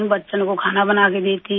बच्चों को खाना बनाकर देती हूँ